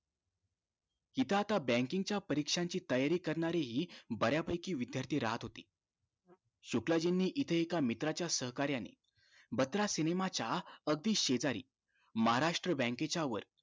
इथं आता banking च्या परीक्षांची तयारी करणारी बऱ्या पैकी विद्यार्थी राहत होते शुक्लाजींनी इथे एका मित्रा च्या सहकार्याने बत्रा cinema च्या अगदी शेजारी महाराष्ट्र bank च्या वर